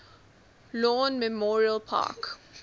lawn memorial park